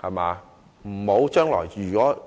時不要重蹈覆轍。